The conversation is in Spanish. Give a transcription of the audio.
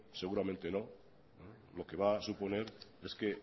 seguramente no lo que va a suponer es que